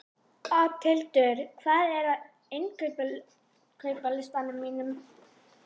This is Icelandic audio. Oddhildur, hvað er á innkaupalistanum mínum?